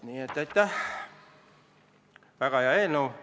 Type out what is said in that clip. Nii et aitäh, väga hea eelnõu!